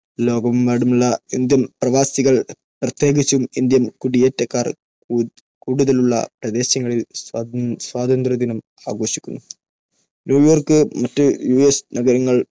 ലോകമെമ്പാടുമുള്ള ഇന്ത്യൻ പ്രവാസികൾ, പ്രത്യേകിച്ചും ഇന്ത്യൻ കുടിയേറ്റക്കാർ കൂടുതലുള്ള പ്രദേശങ്ങളിൽ സ്വാതന്ത്ര്യദിനം ആഘോഷിക്കുന്നു. ന്യൂയോർക്ക് മറ്റ് യുഎസ് നഗരങ്ങൾ